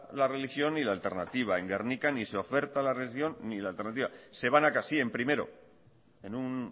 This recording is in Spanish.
la religión ni la alternativa en gernika ni se oferta la religión ni la alternativa se van a casa sí en primero en un